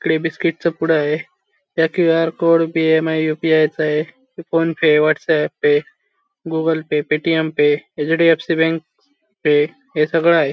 इकडे बिस्किट चा पुडाय त्या QR code B M I U P I चा ए हे PhonePe WhatsApp pay Google pay Paytm pay H D F C bank pay हे सगळय.